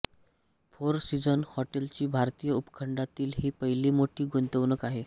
four Season हॉटेलची भारतीय उपखंडातील ही पहिली मोठी गुंतवणूक आहे